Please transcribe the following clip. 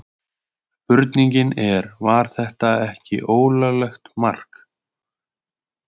Spurningin er var þetta ekki ólöglegt mark?